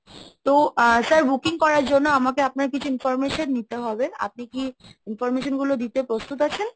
তো ah sir booking করার জন্য আমাকে আপনার কিছু information নিতে হবে, আপনি কি information গুলো দিতে প্রস্তুত আছেন?